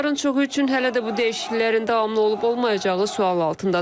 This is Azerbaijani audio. Onların çoxu üçün hələ də bu dəyişikliklərin davamlı olub-olmayacağı sual altındadır.